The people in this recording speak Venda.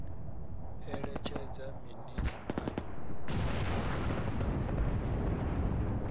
eletshedza minis a doa na